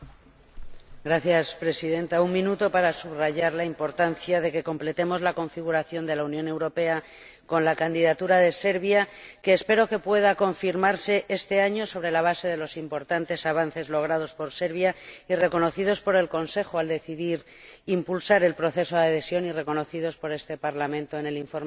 Señora Presidenta, un minuto para subrayar la importancia de que completemos la configuración de la Unión Europea con la candidatura de Serbia, que espero pueda confirmarse este año sobre la base de los importantes avances logrados por Serbia, reconocidos por el Consejo al decidir impulsar el proceso de adhesión y reconocidos por este Parlamento en el informe del Sr.